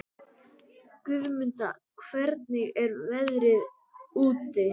Guðmunda, hvernig er veðrið úti?